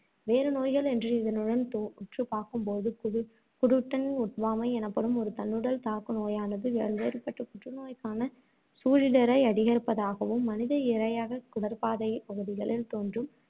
வேறு நோய்கள் என்று இதனுடன் தொ~ உற்று பார்க்கும் போது குலு~ gluten ஒவ்வாமை எனப்படும் ஒரு தன்னுடல் தாக்குநோயானது, பல்வேறுபட்ட புற்றுநோய்க்கான சூழிடரை அதிகரிப்பதாகவும், மனித இரையாகக் குடற்பாதைப் பகுதிகளில் தோன்றும்